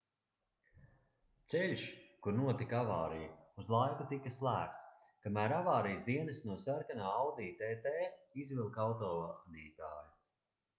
ceļš kur notika avārija uz laiku tika slēgts kamēr avārijas dienesti no sarkanā audi tt izvilka autovadītāju